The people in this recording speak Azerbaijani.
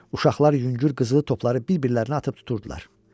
Uşaqlar yüngül qızılı topları bir-birlərinə atıb tuturdular.